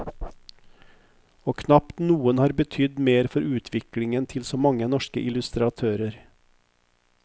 Og knapt noen har betydd mer for utviklingen til så mange norske illustratører.